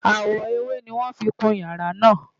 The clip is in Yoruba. Àwọ̀ ewé ni wọ́n fi kun ìyàrá náà